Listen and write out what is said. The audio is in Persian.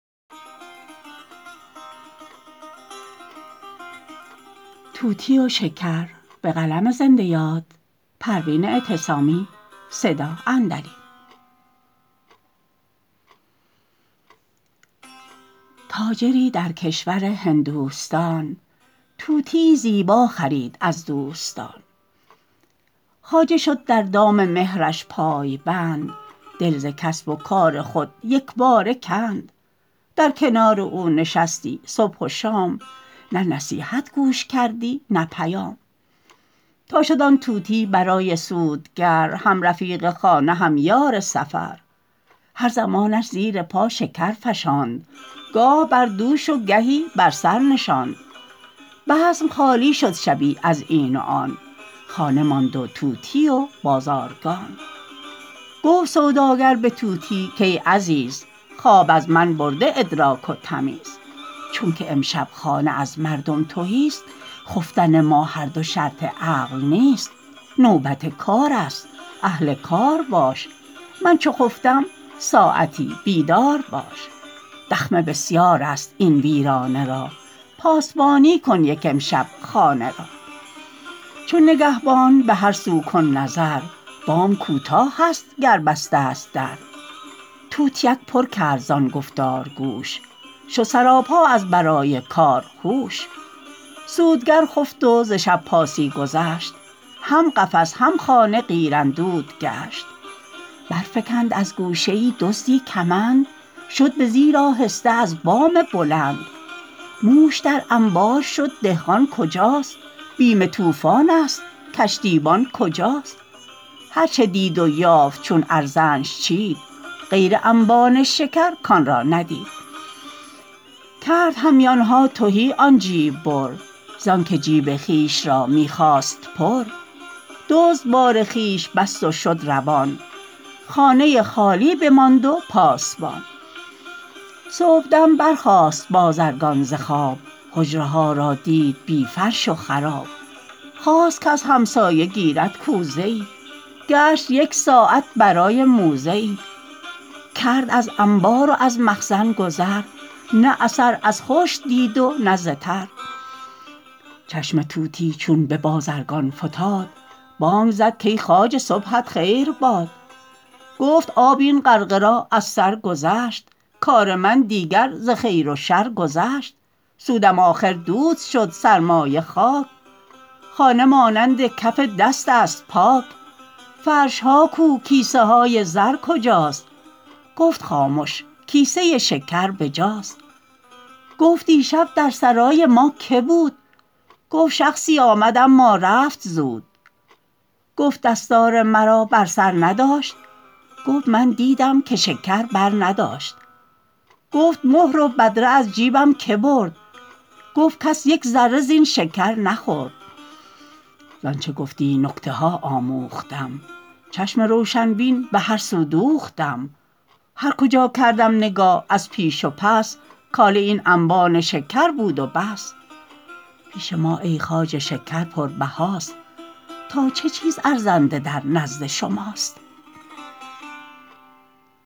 تاجری در کشور هندوستان طوطیی زیبا خرید از دوستان خواجه شد در دام مهرش پای بند دل ز کسب و کار خود یکباره کند در کنار او نشستی صبح و شام نه نصیحت گوش کردی نه پیام تا شد آن طوطی برای سودگر هم رفیق خانه هم یار سفر هر زمانش زیر پا شکر فشاند گاه بر دوش و گهی بر سر نشاند بزم خالی شد شبی از این و آن خانه ماند و طوطی و بازارگان گفت سوداگر بطوطی کای عزیز خواب از من برده ادراک و تمیز چونکه امشب خانه از مردم تهی است خفتن ما هر دو شرط عقل نیست نوبت کار است اهل کار باش من چو خفتم ساعتی بیدار باش دخمه بسیار است این ویرانه را پاسبانی کن یک امشب خانه را چون نگهبانان بهر سو کن نظر بام کوتاهست گر بسته است در طوطیک پر کرد زان گفتار گوش شد سراپا از برای کار هوش سودگر خفت و ز شب پاسی گذشت هم قفس هم خانه قیراندود گشت برفکند از گوشه ای دزدی کمند شد بزیر آهسته از بام بلند موش در انبار شد دهقان کجاست بیم طوفانست کشتیبان کجاست هر چه دید و یافت چون ارزنش چید غیر انبان شکر کان را ندید کرد همیانها تهی آن جیب بر زانکه جیب خویش را میخواست پر دزد بار خویش بست و شد روان خانه خالی بماند و پاسبان صبحدم برخاست بازرگان ز خواب حجره ها را دید بی فرش و خراب خواست کز همسایه گیرد کوزه ای گشت یکساعت برای موزه ای کرد از انبار و از مخزن گذر نه اثر از خشک دید و نه ز تر چشم طوطی چون ببازرگان فتاد بانگ زد کای خواجه صبحت خیر باد گفت آب این غرقه را از سر گذشت کار من دیگر ز خیر و شر گذشت سودم آخر دود شد سرمایه خاک خانه مانند کف دست است پاک فرشها کو کیسه های زر کجاست گفت خامش کیسه شکر بجاست گفت دیشب در سرای ما که بود گفت شخصی آمد اما رفت زود گفت دستار مرا بر سر نداشت گفت من دیدم که شکر بر نداشت گفت مهر و بدره از جیبم که برد گفت کس یکذره زین شکر نخورد زانچه گفتی نکته ها آموختم چشم روشن بین بهر سو دوختم هر کجا کردم نگاه از پیش و پس کاله این انبان شکر بود و بس پیش ما ای خواجه شکر پر بهاست تا چه چیز ارزنده در نزد شماست